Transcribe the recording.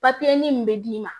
min bɛ d'i ma